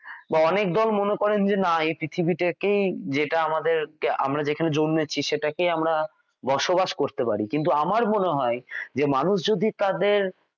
বা অনেক দল মনে করেন যে না এ পৃথিবী টা কেই যেটা আমাদের আমরা যেখানে জন্মেছি সেটা কেই আমরা বসবাস